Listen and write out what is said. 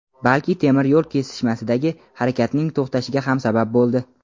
balki temir yo‘l kesishmasidagi harakatning to‘xtashiga ham sabab bo‘ldi.